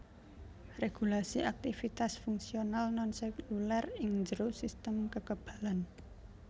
Regulasi aktivitas fungsional non seluler ing jero sistem kekebalan